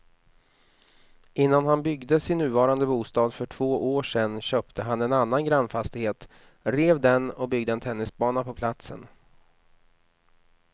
Innan han byggde sin nuvarande bostad för två år sedan köpte han en annan grannfastighet, rev den och byggde en tennisbana på platsen.